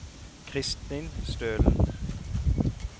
Christin Stølen